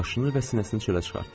Başını və sinəsini çölə çıxartdı.